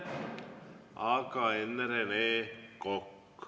Aga enne Rene Kokk.